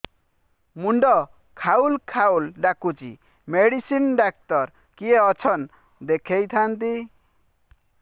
ମୁଣ୍ଡ ଖାଉଲ୍ ଖାଉଲ୍ ଡାକୁଚି ମେଡିସିନ ଡାକ୍ତର କିଏ ଅଛନ୍ ଦେଖେଇ ଥାନ୍ତି